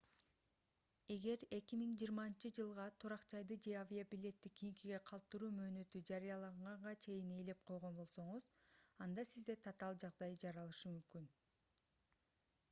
эгер 2020-жылга турак жайды же авиабилетти кийинкиге калтыруу мөөнөтү жарыяланганга чейин ээлеп койгон болсоңуз анда сизде татаал жагдай жаралышы мүмкүн